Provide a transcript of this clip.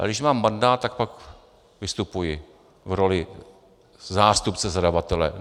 A když mám mandát, tak pak vystupuji v roli zástupce zadavatele.